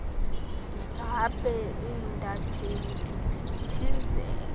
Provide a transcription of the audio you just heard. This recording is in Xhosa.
zabe intatheli ziphithizela